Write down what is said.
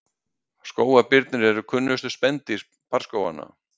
skógarbirnir eru kunnustu spendýr barrskóganna